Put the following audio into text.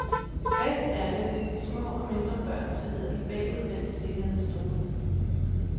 Bedst er det, hvis de små og mindre børn sidder i bagudvendte sikkerhedsstole.